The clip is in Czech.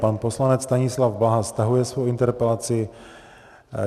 Pan poslanec Stanislav Blaha stahuje svou interpelaci.